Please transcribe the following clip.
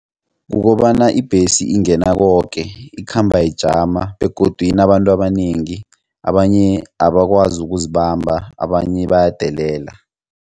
Kukobana ibhesi ingena koke ikhamba ijama begodu inabantu abanengi abanye abakwazi ukuzibamba abanye bayadelela.